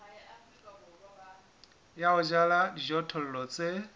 ya ho jala dijothollo tse